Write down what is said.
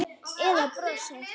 Eða brosið?